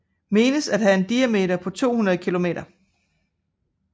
Menes at have en diameter på omkring 200 kilometer